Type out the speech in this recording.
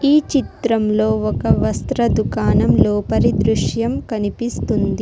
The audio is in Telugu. ఈ చిత్రంలో ఒక వస్త్ర దుకాణం లోపలి దృశ్యం కనిపిస్తుంది.